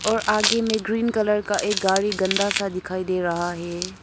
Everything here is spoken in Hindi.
और आगे में ग्रीन कलर का एक गाड़ी गंदा सा दिखाई दे रहा है।